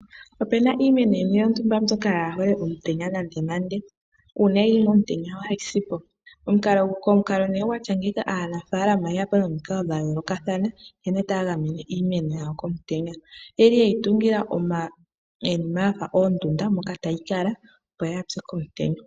Opuna iimeno yimwe yontumba mbyoka yaahole omutenya nandenande. Uuna yili momutenya yohayi sipo. Aanafaalama oye yapo momikalo dhayoolokathana nkene taya gamene iimeno yawo komutenya, oyeli yeyi tungila iinima yafa oondunda moka tayi kala opo yaase po.